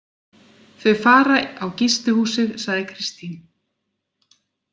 Þau fara á gistihúsið, sagði Kristín.